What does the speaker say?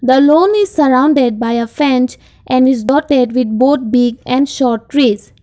alone is surrounded by a fence and his daughter with both big and short trees.